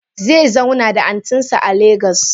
Zezauna da antinsa a lagos.